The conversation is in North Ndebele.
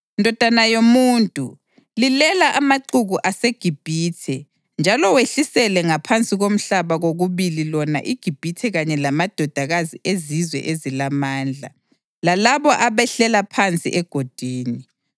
“Ndodana yomuntu, lilela amaxuku aseGibhithe njalo wehlisele ngaphansi komhlaba kokubili lona iGibhithe kanye lamadodakazi ezizwe ezilamandla, lalabo abehlela phansi egodini.